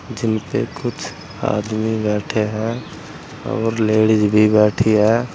जिन पे कुछ आदमी बैठे है और लेडीज भी बैठी है।